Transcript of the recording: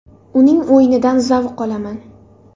Uning o‘yinidan zavq olaman.